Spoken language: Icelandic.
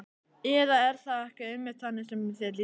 Eða er það ekki einmitt þannig sem þér líður?